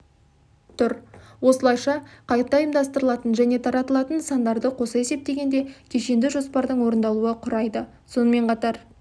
тұр осылайша қайта ұйымдастырылатын және таратылатын нысандарды қоса есептегенде кешенді жоспардың орындалуы құрайды сонымен қатар